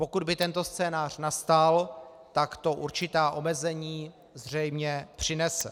Pokud by tento scénář nastal, tak to určitá omezení zřejmě přinese.